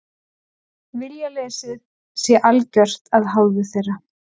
Viljaleysið sé algjört af hálfu þeirra